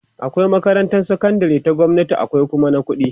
akwai makarantan sakandari ta gwamnati akwai Kuma na ƙuɗi